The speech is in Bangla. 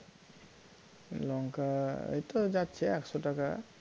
লঙ্কা এই তো যাচ্ছে একশ টাকা